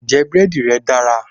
Ǹjẹ́ búrẹ́dì rẹ́ dára?